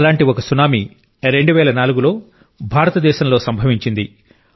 అలాంటి ఒక సునామీ 2004 లో భారతదేశంలో సంభవించింది